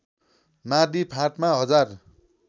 माडी फाँटमा हजार